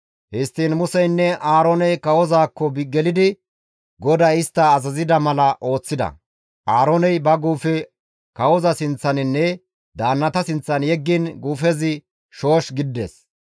Histtiin Museynne Aarooney kawozaakko gelidi GODAY istta azazida mala ooththida; Aarooney ba guufe kawoza sinththaninne daannata sinththan yeggiin guufezi shoosh gidides.